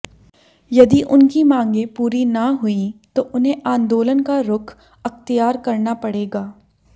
यदि उनकी मांगें पूरी न हुईं तो उन्हें आंदोलन का रुख अख्तियार करना पड़ेगा